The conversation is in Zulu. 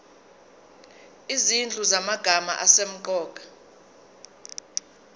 izinhlu zamagama asemqoka